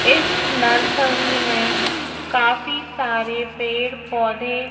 इस नर्सरी में काफी सारे पेड़ पौधे--